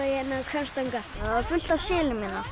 Hvammstanga það er fullt af selum hérna